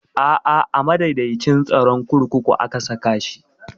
A'a a madaidaicin tsaron kurkuku aka saka shi